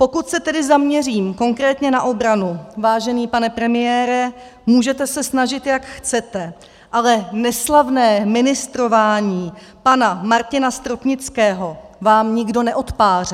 Pokud se tedy zaměřím konkrétně na obranu, vážený pane premiére, můžete se snažit, jak chcete, ale neslavné ministrování pana Martina Stropnického vám nikdo neodpáře.